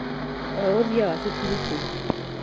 Wĩ ũthĩagaa thukuru kũũ?